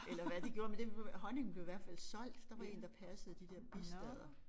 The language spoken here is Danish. Eller hvad de gjorde men det honningen blev i hvert fald solgt der var én der passede de der bistader